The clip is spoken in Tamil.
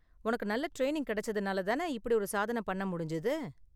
உனக்கு நல்ல ட்ரெயினிங் கிடைச்சதனால தான இப்படி ஒரு சாதன பண்ண முடிஞ்சது?